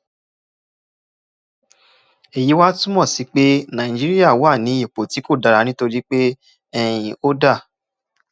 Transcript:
èyí wá túmọ sí pé nàìjíríà wà ní ipò tí kò dára nítorí pé um ó dà